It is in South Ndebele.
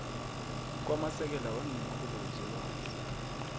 kwamasekela weenkhulu zelwazi